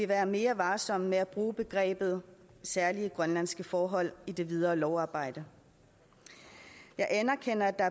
være mere varsom med at bruge begrebet særlige grønlandske forhold i det videre lovarbejde jeg anerkender at der